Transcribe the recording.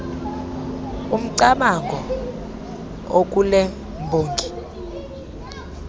umcamango okule mbongi